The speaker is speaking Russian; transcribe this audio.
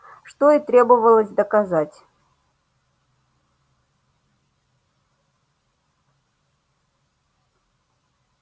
что и требовалось доказать